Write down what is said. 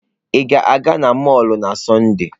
Ị ga-aga n'mọlụ na Sọnde?